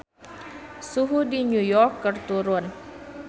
Suhu di New York keur turun